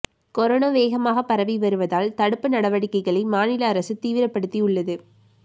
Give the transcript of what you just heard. corona வேகமாக பரவி வருவதால் தடுப்பு நடவடிக்கைகளை மாநில அரசு தீவிரப்படுத்தி உள்ளது